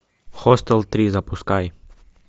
хостел три запускай